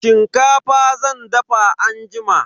Shinkafa zan dafa anjima.